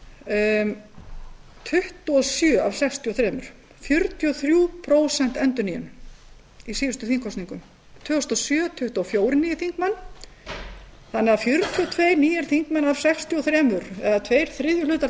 tuttugu og sjö af sextíu og þrjú það varð því fjörutíu og þrjú prósent endurnýjun í síðustu þingkosningum og árið tvö þúsund og sjö voru tuttugu og fjórir nýir þingmenn í dag má segja að fjörutíu og tveir þingmenn af sextíu og þrjú séu nýir eða tveir þriðju hlutar